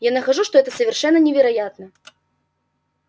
я нахожу что это совершенно невероятно